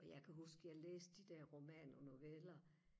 og jeg kan huske jeg læste de der romaner og noveller